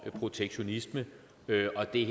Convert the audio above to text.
en protektionistisk bølge og det